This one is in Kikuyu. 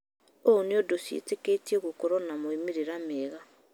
ũũ nĩundũ ciĩtĩkĩtwo gũkworwo na maumĩrĩra mega.